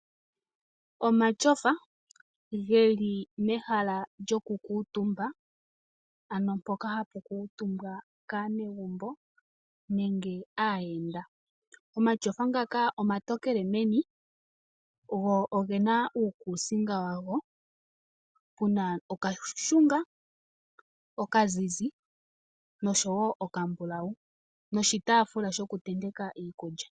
Omatyofa geli mehala lyokukutumba ano mpono hapu kutumba aayenda nenge aanegumbo. Omatyofa ngaka omatokele meni go ogena uukusinga wago muna okashunga, okazizi noshowo okambulawu nokataafula sho kutenteka.